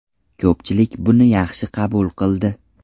Ko‘pchilik buni yaxshi qabul qildi.